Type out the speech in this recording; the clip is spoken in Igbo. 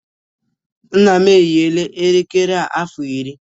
Nna m eyiwo elekere a afọ iri